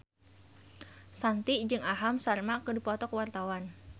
Shanti jeung Aham Sharma keur dipoto ku wartawan